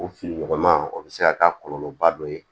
O fiɲɔgɔnma o bɛ se ka k'a kɔlɔlɔba dɔ ye